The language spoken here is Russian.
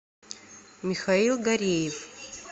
михаил гареев